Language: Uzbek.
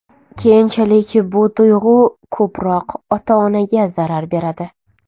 Keyinchalik bu tuyg‘u ko‘proq ota-onaga zarar beradi.